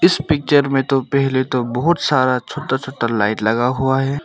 इस पिक्चर में बहुत सारा छोटा छोटा लाइट लगा हुआ है।